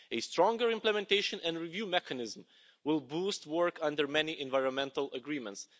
A stronger implementation and review mechanism will boost work under many environmental agreements.